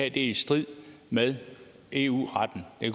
i strid med eu retten det